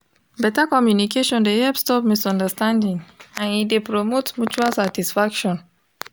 better communication de help stop misunderstanding and e de promote mutual satisfaction